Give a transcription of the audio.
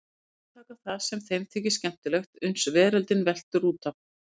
Endurtaka það sem þeim þykir skemmtilegt uns veröldin veltur út af.